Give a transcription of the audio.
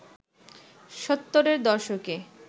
সত্তরের দশকে